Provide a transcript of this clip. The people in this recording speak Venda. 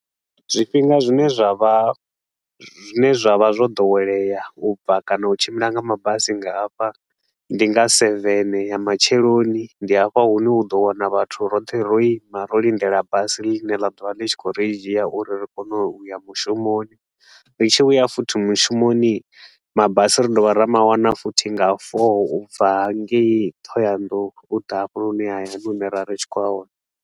Zwifhinga zwine zwa vha zwine zwa vha zwo ḓowelea u bva kana u tshimbila nga mabasi nga hafha, ndi nga seven ya matsheloni. Ndi afho hune u ḓo wana vhathu roṱhe ro ima ro lindela basi ḽine ḽa ḓovha ḽi tshi khou ri dzhia uri ri kone u ya mushumoni. Ri tshi vhuya futhi mushumoni hii, mabasi ri dovha ra mawana futhi nga four u bva hangei Thohoyandou u ḓa hafhanoni hayani hune ra ri tshi khou a wana.